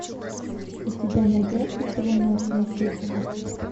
у тебя найдется полуночная чистка